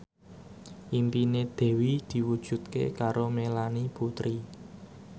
impine Dewi diwujudke karo Melanie Putri